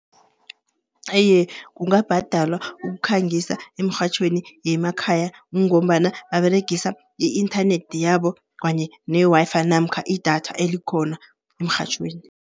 Iye kungabhadalwa ukukhangisa eemrhatjhweni yemakhaya, kungombana baberegisa i-inthanethi yabo kanye ne-Wi-Fi namkha idatha, elikhona emrhatjhweni.